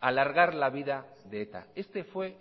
alargar la vida de eta este fue